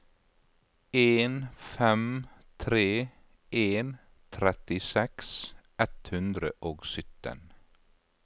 en fem tre en trettiseks ett hundre og sytten